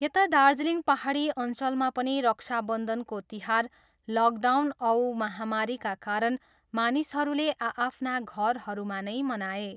यता दार्जिलिङ पाहाडी अञ्चलमा पनि रक्षाबन्धनको तिहार लकडाउन औ महामारीका कारण मानिसहरूले आआफ्ना घरहरूमा नै मनाए।